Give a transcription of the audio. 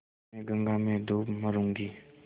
मैं गंगा में डूब मरुँगी